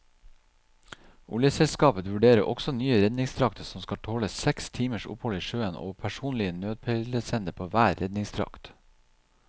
Oljeselskapet vurderer også nye redningsdrakter som skal tåle seks timers opphold i sjøen og personlig nødpeilesender på hver redningsdrakt.